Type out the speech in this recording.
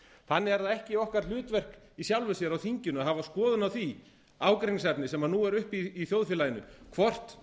þannig er það ekki okkar hlutverk í sjálfu sér á þinginu að hafa skoðun á því ágreiningsefni sem nú er uppi í þjóðfélaginu hvort